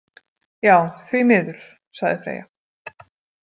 Já, því miður, sagði Freyja.